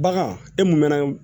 Bagan e mun mɛnna